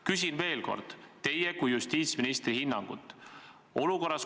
Küsin veel kord teie kui justiitsministri hinnangut.